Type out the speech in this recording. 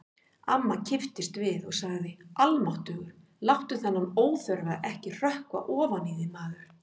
Amma kipptist við og sagði: Almáttugur, láttu þennan óþverra ekki hrökkva ofan í þig, maður